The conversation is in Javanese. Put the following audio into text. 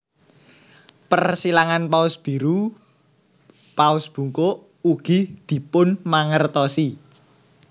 Persilangan paus biru / paus bungkuk ugi dipunmangertosi